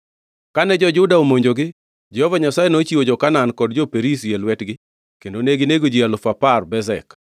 Kane jo-Juda omonjogi, Jehova Nyasaye nochiwo jo-Kanaan kod jo-Perizi e lwetgi kendo neginego ji alufu apar Bezek.